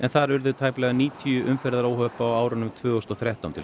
þar urðu tæplega níutíu umferðaróhöpp á árunum tvö þúsund og þrettán til